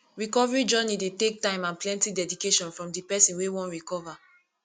recovery journey dey take time and plenty dedication from di person wey wan recover